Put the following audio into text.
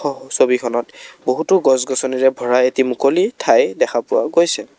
হহ ছবিখনত বহুতো গছ গছনিৰে ভৰা এটি মুকলি ঠাই দেখা পোৱা গৈছে।